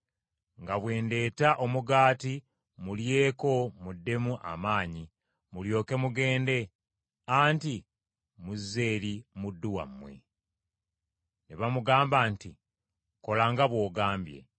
nga bwe ndeeta omugaati mulyeko muddemu amaanyi, mulyoke mugende, anti muzze eri muddu wammwe.” Ne bamugamba nti, “Kola nga bw’ogambye.”